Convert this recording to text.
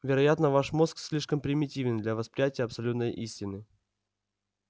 вероятно ваш мозг слишком примитивен для восприятия абсолютной истины